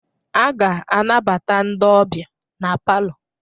A ga-anabata ndị ọbịa n'palọ